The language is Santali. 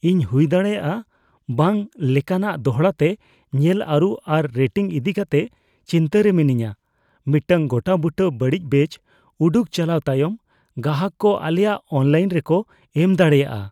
ᱤᱧ ᱦᱩᱭᱫᱟᱲᱮᱭᱟᱜᱼᱟ ᱵᱟᱝ ᱞᱮᱠᱟᱱᱟᱜ ᱫᱚᱲᱦᱟ ᱛᱮ ᱧᱮᱞ ᱟᱹᱨᱩ ᱟᱨ ᱨᱮᱴᱤᱝ ᱤᱫᱤᱠᱟᱛᱮ ᱪᱤᱱᱛᱟᱹᱨᱮ ᱢᱤᱱᱟᱹᱧᱟ, ᱢᱤᱫᱴᱟᱝ ᱜᱚᱴᱟᱼᱵᱩᱴᱟᱹ ᱵᱟᱹᱲᱤᱡ ᱵᱮᱹᱪ ᱩᱰᱩᱠ ᱪᱟᱞᱟᱣ ᱛᱟᱭᱚᱢ ᱜᱟᱦᱟᱜ ᱠᱚ ᱟᱞᱮᱭᱟᱜ ᱚᱱᱞᱟᱭᱤᱱ ᱨᱮᱠᱚ ᱮᱢ ᱫᱟᱲᱮᱭᱟᱜᱼᱟ ᱾